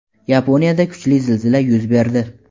Yaponiyada kuchli zilzila yuz berdi.